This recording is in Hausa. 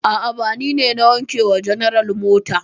A'a, ba ni ne na wanke wa general mota.